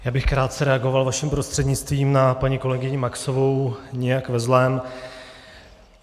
Já bych krátce reagoval vaším prostřednictvím na paní kolegyni Maxovou - nijak ve zlém.